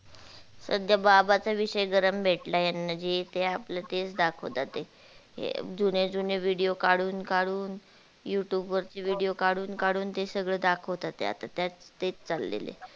सध्या बाबा चा विषय गरम भेटलाय यांना जे त्या आपलं तेच दाखवता ते जुने जुने video काढून काढून youtube वर चे video काढून काढून ते सगळ दाखवता त्या आता त्या तेच चाललेल.